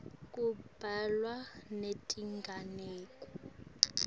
kubhalwa netinganekwane